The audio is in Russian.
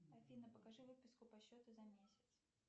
афина покажи выписку по счету за месяц